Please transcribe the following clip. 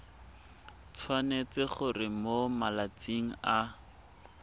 tshwanetse gore mo malatsing a